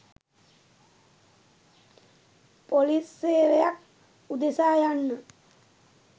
police සේවයක් උදෙසා" යන්න